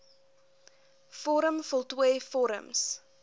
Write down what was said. vorm voltooi vorms